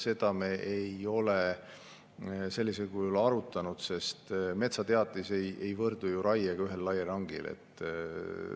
Seda me ei ole sellisel kujul arutanud, sest metsateatis ei võrdu ju raiega ühel raielangil.